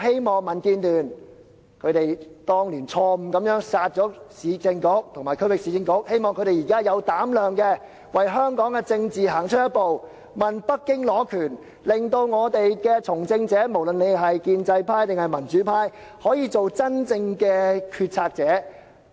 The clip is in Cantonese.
民建聯當年錯誤"殺"了市政局和區域市政局，我希望他們現在有膽量為香港的政治行出一步，要求北京下放權力，令從政者，不論是建制派或民主派，均可做真正的決策者。